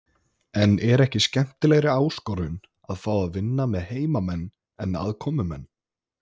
En er ekki skemmtilegri áskorun að fá að vinna með heimamenn en aðkomumenn?